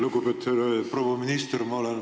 Lugupeetud proua minister!